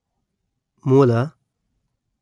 ಮೂಲ